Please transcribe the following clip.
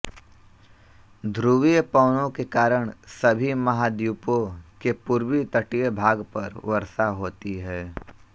ध्रुवीय पवनो के कारण सभी महाद्वीपों के पूर्वी तटीय भाग पर वर्षा होती है